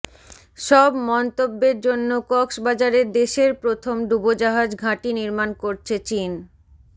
সব মন্তব্যের জন্য কক্সবাজারে দেশের প্রথম ডুবোজাহাজ ঘাঁটি নির্মাণ করছে চীন